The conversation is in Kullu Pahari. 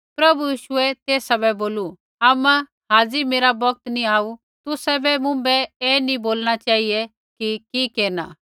प्रभु यीशुऐ तेसा बै बोलू आमा हाज़ी मेरा बौगत नैंई आऊ तुसाबै मुँभै ऐ नी बोलणा चेहिऐ कि केरना